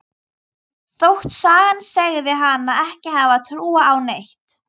Þótt sagan segði hana ekki hafa trúað á neitt.